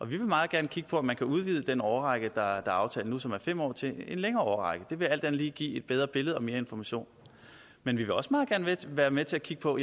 vil meget gerne kigge på om man kan udvide den årrække der er aftalt nu som er fem år til en længere årrække det vil alt andet lige give et bedre billede og mere information men vi vil også meget gerne være med til at kigge på